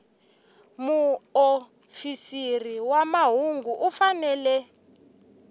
muofisiri wa mahungu u fanele